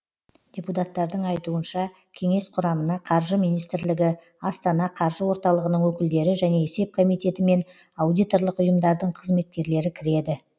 депутаттардың айтуынша кеңес құрамына қаржы министрлігі астана қаржы орталығының өкілдері және есеп комитеті мен аудиторлық ұйымдардың қызметкерлері кіреді